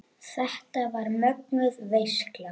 Þetta var mögnuð veisla.